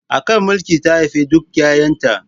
A kan mulki ta haifi duka 'yayanta.